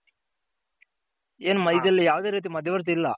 ಇದ್ರಲ್ಲಿ ಯಾವದೇ ರೀತಿ ಮದ್ಯ ವರ್ತಿ ಇಲ್ಲ.